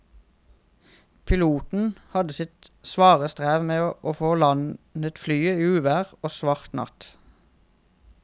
Piloten hadde sitt svare strev med å få landet flyet i uvær og svart natt.